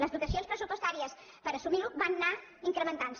les dotacions pressupostàries per assumir ho van anar incrementant se